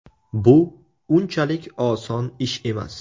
Bu unchalik oson ish emas.